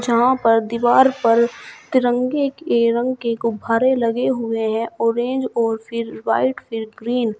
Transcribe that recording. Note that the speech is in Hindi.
जहां पर दीवार पर तिरंगे के रंग के गुब्भारें लगे हुए हैं ऑरेंज और फिर व्हाइट फिर ग्रीन ।